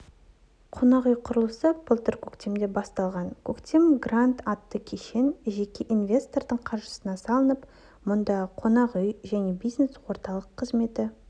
қонақ үй құрылысы былтыр көктемде басталған көктем гранд атты кешен жеке инвестордың қаржысына салынып мұнда қонақ үй және бизнес орталық қызметі